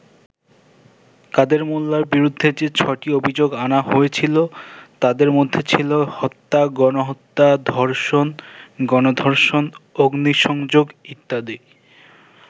কাদের মোল্লার বিরুদ্ধে যে ছ’টি অভিযোগ আনা হয়েছিলো, তাদের মধ্যে ছিলো হত্যা, গণহত্যা, ধর্ষণ, গণ-ধর্ষণ, অগ্নিসংযোগ ইত্যাদি।